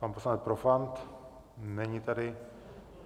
Pan poslanec Profant, není tady.